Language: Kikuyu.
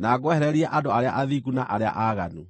na ngwehererie andũ arĩa athingu na arĩa aaganu.